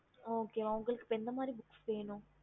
app